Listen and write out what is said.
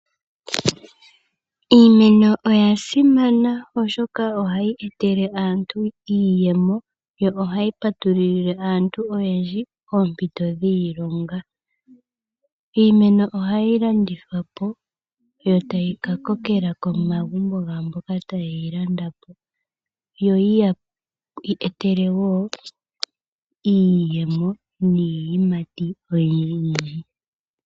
Iimeno oya simana oshoka ohayi etele aantu iiyemo yo ohayi patululile aantu oyendji oompito dhiilonga. iimeno ohayi landithwapo yo tayi ka kokela komagumbo gaamboka ta ye yi landapo yo yi ya etele woo iiyemo niiyimati oyindji yindji